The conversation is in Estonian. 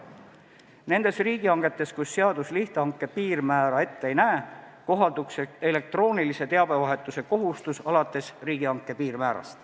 Nende riigihangete puhul, kus seadus lihthanke piirmäära ette ei näe, kohalduks elektroonilise teabevahetuse kohustus alates riigihanke piirmäärast.